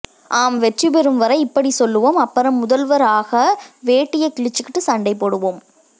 ஆம் வெற்றி பெரும் வரை இப்படி சொல்வோம் அப்பரும் முதல்வர் ஆகா வேட்டியா கிழிச்சுக்குட்டு சண்டைபோடுவம்